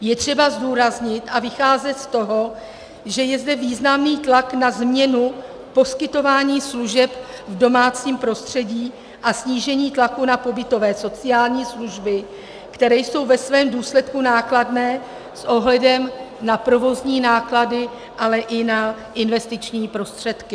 Je třeba zdůraznit a vycházet z toho, že je zde významný tlak na změnu poskytování služeb v domácím prostředí a snížení tlaku na pobytové sociální služby, které jsou ve svém důsledku nákladné s ohledem na provozní náklady, ale i na investiční prostředky.